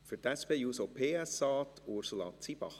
Für die SP-JUSO-PSA, Ursula Zybach.